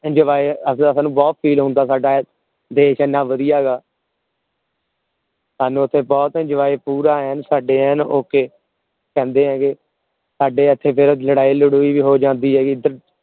enjoy ਸਾਨੂ ਬਹੁਤ feel ਹੁੰਦਾ ਆ ਸਦਾ ਦੇਸ਼ ਹਨ ਵਧਿਆ ਗਾ ਸਾਨੂ ਇਥੇ ਬਹੁਤ ਪੂਰਾ enjoy ਐਨ ਸਦਾ ਐਨ okay ਕਹਿੰਦੇ ਹੈਗੇ ਸਾਡੇ ਏਧਰ ਲੜਾਈ ਲਦੁਇ ਵੀ ਹੋ ਜਾਂਦੀ ਹੈ